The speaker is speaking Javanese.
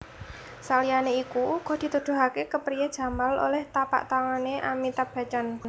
Saliyané iku uga dituduhaké kepriyé Jamal olèh tapaktangané Amitabh Bachchan